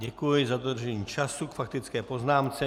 Děkuji za dodržení času k faktické poznámce.